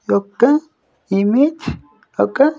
ఒక్క ఇమేజ్ ఒక.